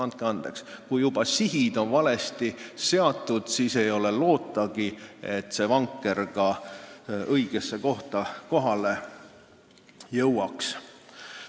Andke andeks, kui juba sihid on valesti seatud, siis ei ole lootagi, et see vanker õigesse kohta kohale jõuaks.